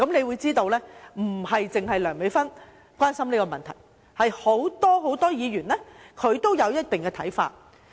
由此可見，不止梁美芬議員關心這個問題，很多議員都有一定的看法。